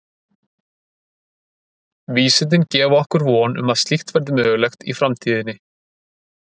Vísindin gefa okkur von um að slíkt verði mögulegt í framtíðinni.